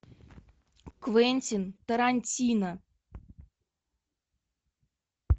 квентин тарантино